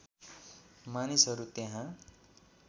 मानिसहरू त्यहाँ